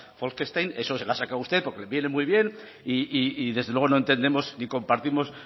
bolkestein eso se lo ha sacado usted porque le viene muy bien y desde luego no entendemos ni compartimos